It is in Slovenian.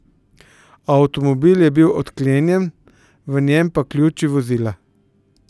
Avtomobil je bil odklenjen, v njem pa ključi vozila.